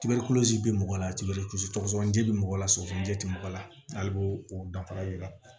Tigali bɛ mɔgɔ la tibelebele sɔgɔsɔgɔnijɛ bɛ mɔgɔ la sɔsɔlijɛ tɛ mɔgɔ la hali b'o o danfara yira